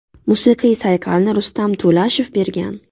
Musiqiy sayqalni Rustam To‘lashev bergan.